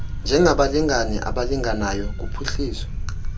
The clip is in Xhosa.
njengabalingane abalinganayo kuphuhliso